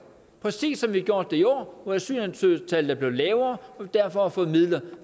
præcis som vi har gjort det i år hvor antallet af asylansøgere er blevet lavere og vi derfor har fået midler